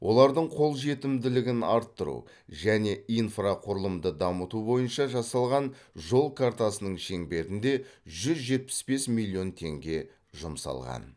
олардың қолжетімділігін арттыру және инфрақұрылымды дамыту бойынша жасалған жол картасының шеңберінде жүз жетпіс бес миллион теңге жұмсалған